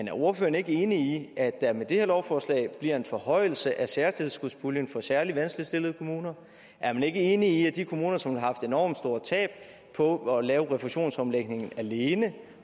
er ordføreren ikke enig i at der med det her lovforslag bliver en forhøjelse af særtilskudspuljen for særlig vanskeligt stillede kommuner er man ikke enig i at de kommuner som har haft enormt store tab på at lave refusionsomlægningen alene